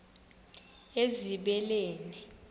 ezibeleni